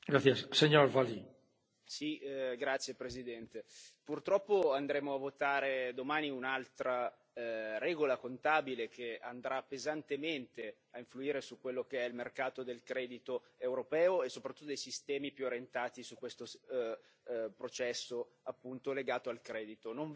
Signor Presidente, onorevoli colleghi, purtroppo andremo a votare domani un'altra regola contabile che andrà pesantemente a influire su quello che è il mercato del credito europeo e soprattutto dei sistemi più orientati su questo processo appunto legato al credito.